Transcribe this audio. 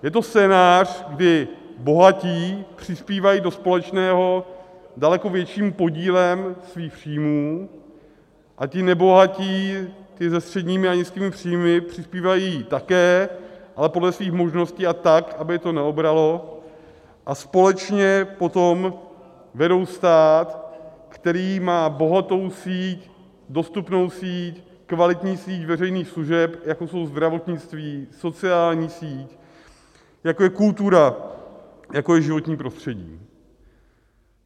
Je to scénář, kdy bohatí přispívají do společného daleko větším podílem svých příjmů a ti nebohatí, ti se středními a nízkými příjmy, přispívají také, ale podle svých možností a tak, aby je to neobralo, a společně potom vedou stát, který má bohatou síť, dostupnou síť, kvalitní síť veřejných služeb, jako jsou zdravotnictví, sociální síť, jako je kultura, jako je životní prostředí.